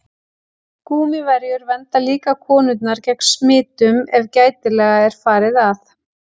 Gúmmíverjur vernda líka konurnar gegn smitun ef gætilega er farið að.